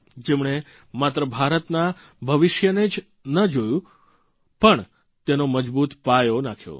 જેમણે માત્ર ભારતના ભવિષ્યને જ ન જોયું પણ તેનો મજબૂત પાયો નાંખ્યો